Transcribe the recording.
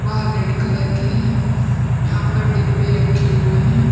वह red colour की है यहां पर डिब्बे रखे हुए हैं।